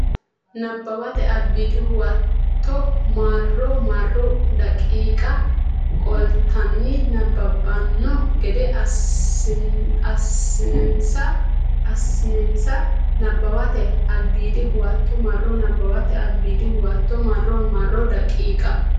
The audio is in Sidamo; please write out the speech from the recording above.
Nabbawate Albiidi Huwato marro marro daqiiqa qoltanni nabbabbanno gede assinsa Nabbawate Albiidi Huwato marro Nabbawate Albiidi Huwato marro marro daqiiqa.